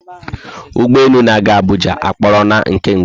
Ụgbọelu na aga Abuja aporola nke mgbe